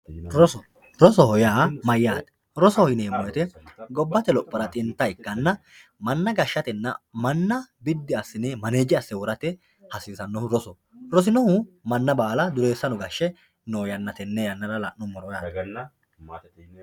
Roso, rosoho yaa mayate roso yinemo woyite gobate lophora xinta ikkanna mana gashatenna mana bidi asine manaje ase worate hasisanohu rosoho. rosinohu duresano gashe noo yana tene lanumoro